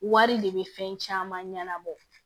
Wari de bɛ fɛn caman ɲɛnabɔ